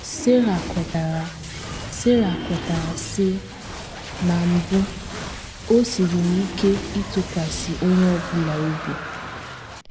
Sara kwetara Sara kwetara, sị: “ Na mbụ, o siiri m ike ịtụkwasị onye ọ bụla obi.